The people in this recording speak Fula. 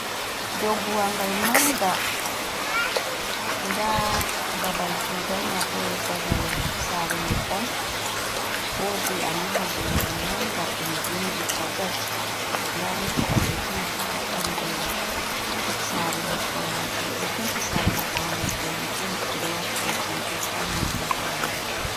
Dou buwangal manga nda babal kugal mabo babal sorugo nyebbam wodi alluha gengal manga ɗum vindi hajaj nda moota ɓalejum ha ɓandu saare nyebbam majum ɓeɗo penti saare nyebbam mai danejum ɓeɗo wati bujam ɓeɗo tarni mahol majum.